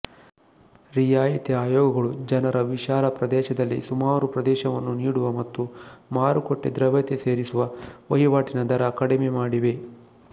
ರಿಯಾಯಿತಿಯ ಆಯೋಗಗಳು ಜನರ ವಿಶಾಲ ಪ್ರದೇಶದಲ್ಲಿ ಸುಮಾರು ಪ್ರವೇಶವನ್ನು ನೀಡುವ ಮತ್ತು ಮಾರುಕಟ್ಟೆ ದ್ರವ್ಯತೆ ಸೇರಿಸುವ ವಹಿವಾಟಿನ ದರ ಕಡಿಮೆಮಾಡಿವೆ